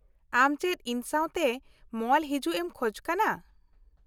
-ᱟᱢ ᱪᱮᱫ ᱤᱧ ᱥᱟᱶᱛᱮ ᱢᱚᱞ ᱦᱤᱡᱩᱜ ᱮᱢ ᱠᱷᱚᱡ ᱠᱟᱱᱟ ?